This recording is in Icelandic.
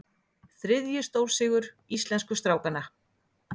Þriðji stórsigur íslensku strákanna